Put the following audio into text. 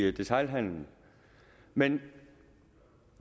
i detailhandelen men